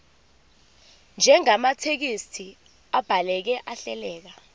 njengamathekisthi abhaleke ahleleka